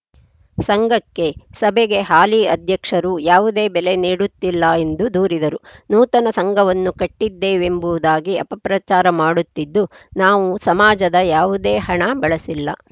ಸಂಘಕ್ಕೆ ಸಭೆಗೆ ಹಾಲಿ ಅಧ್ಯಕ್ಷರು ಯಾವುದೇ ಬೆಲೆ ನೀಡುತ್ತಿಲ್ಲ ಎಂದು ದೂರಿದರು ನೂತನ ಸಂಘವನ್ನು ಕಟ್ಟಿದ್ದೇವೆಂಬುದಾಗಿ ಅಪಪ್ರಚಾರ ಮಾಡುತ್ತಿದ್ದು ನಾವು ಸಮಾಜದ ಯಾವುದೇ ಹಣ ಬಳಸಿಲ್ಲ